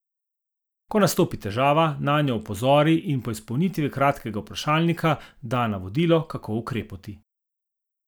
Ko nastopi težava, nanjo opozori in po izpolnitvi kratkega vprašalnika da navodilo, kako ukrepati.